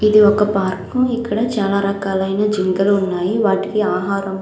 ఇది ఒక పార్కు ఇక్కడ చాలా రకాలైన జింకలు ఉన్నాయి వాటికి ఆహారం --